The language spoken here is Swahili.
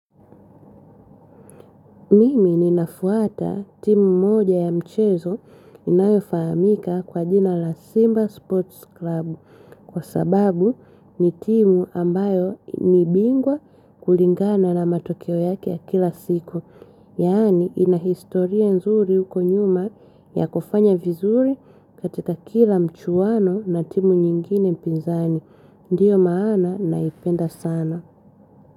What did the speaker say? Mimi ninafuata timu moja ya mchezo inayofahamika kwa jina la Simba Sports Club kwa sababu ni timu ambayo ni bingwa kulingana na matokeo yake ya kila siku. Yani ina historia nzuri huko nyuma ya kufanya vizuri katika kila mchuano na timu nyingine pinzani. Ndiyo maana naipenda sana.